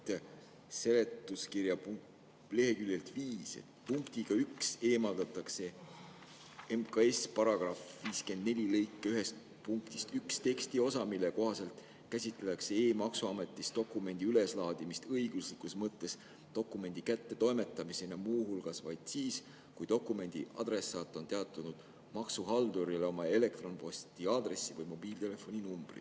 Loen siit seletuskirja leheküljelt nr 5: "Punktiga 1 eemaldatakse MKS § 54 lõike 1 punktist 1 tekstiosa, mille kohaselt käsitatakse e-maksuametis dokumendi üleslaadimist õiguslikus mõttes dokumendi kättetoimetamisena muu hulgas vaid siis, kui dokumendi adressaat on teatanud maksuhaldurile oma elektronposti aadressi või mobiiltelefoni numbri.